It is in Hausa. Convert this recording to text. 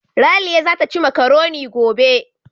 Raliya zata ci makaroni gobe.